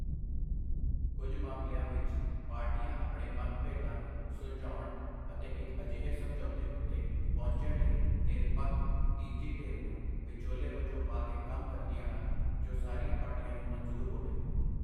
ਕੱਝ ਮਾਮਲਿਆਂ ਵਿੱਚ, ਪਾਰਟੀਆਂ ਆਪਣੇ ਮਤਭੇਦਾਂ ਨੂੰ ਸੁਲਝਾਉਣ ਅਤੇ ਇੱਕ ਅਜਿਹੇ ਸਮਝੌਤੇ ਉੱਤੇ ਪਹੁੰਚਣ ਲਈ ਨਿਰਪੱਖ ਤੀਜੀ ਧਿਰ ਨੂੰ ਵਿਚੋਲੇ ਵਜੋਂ ਪਾ ਕੇ ਕੰਮ ਕਰਦੀਆਂ ਹਨ, ਜੋ ਸਾਰੀਆਂ ਪਾਰਟੀਆਂ ਨੂੰ ਮਨਜ਼ੂਰ ਹੋਵੇ।